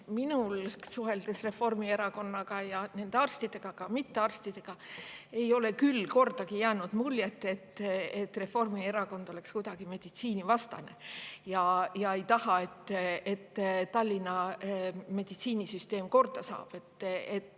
Minul, suheldes Reformierakonna arstidega, aga ka mittearstidega, ei ole küll kordagi jäänud muljet, et Reformierakond oleks kuidagi meditsiinivastane ja ei tahaks, et Tallinna meditsiinisüsteem korda saaks.